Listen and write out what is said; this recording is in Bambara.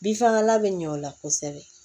Bin fagalan bɛ ɲɛ o la kosɛbɛ